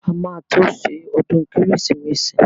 A máa tó ṣe ọdún kérésìmesì.